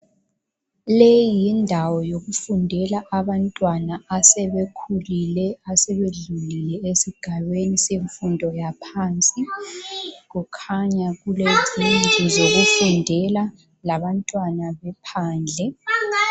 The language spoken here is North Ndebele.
Leyi yindawo yokufundela abantwana asebekhulile asebedlulile isigabeni semfundo yaphansi. Kukhanya kule zindlu zokufundela labantwana bephandle.